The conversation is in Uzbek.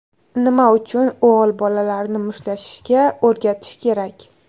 Nima uchun o‘g‘il bolalarni mushtlashishga o‘rgatish kerak?.